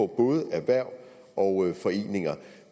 både erhverv og foreninger